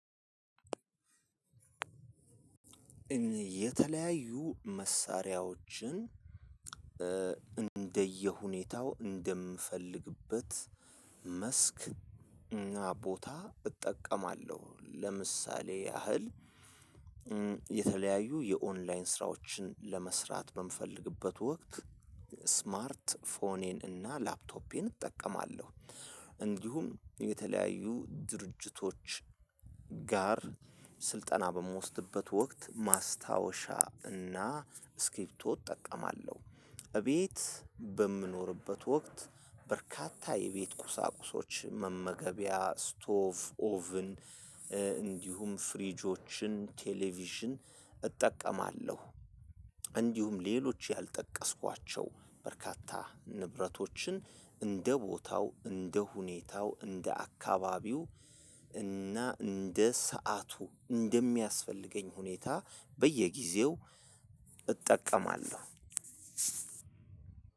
የተለያዩ መሳሪያዎችን እንደየሁኔታው እንደምፈልግበት መስክ እና ቦታ እጠቀማለሁ። ለምሳሌ ያህል የተለያዩ የኦንላይን ስራዎችን ለመስራት በምፈልግበት ወቅት ስማርት ፎኔን እና ላፕቶፔን እጠቀማለሁ። እንዲሁም የተለያዩ ድርጅቶች ጋር ስልጠና በምወስድበት ወቅት ማስታወሻ እና እስኪርቢቶ እጠቀማለሁ። እቤት በምኖርበት ወቅት በርካታ የቤት ቁሳቁሶች መመገቢያ ስቶቭ ኦቭን እንዲሁም ፍሪጆችን ቴሌቪዥን እጠቀማለሁ። እንዲሁም ሌሎች ያልጠቀስኳቸው በርካታ ንብረቶችን እንደ ቦታው እንደ ሁኔታው እንደ አካባቢው እና እንደ ሰዓቱ እንደሚያስፈልገኝ ሁኔታ በየጊዜው እጠቀማለሁ።